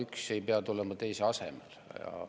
Üks ei pea tulema teise asemele.